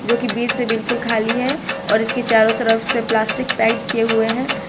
जो की बीच से बिल्कुल खाली है और इसके चारों तरफ से प्लास्टिक टाइट किए हुए हैं।